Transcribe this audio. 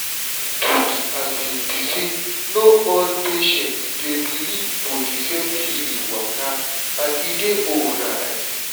truth be say no all patients dey believe for di same healing waka and e dey alright.